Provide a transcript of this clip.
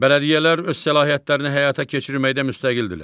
Bələdiyyələr öz səlahiyyətlərini həyata keçirməkdə müstəqildirlər.